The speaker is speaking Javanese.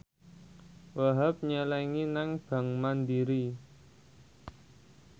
Wahhab nyelengi nang bank mandiri